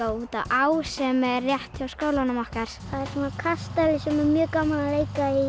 út að á sem er rétt hjá skólanum okkar það er kastali sem er mjög gaman að leika í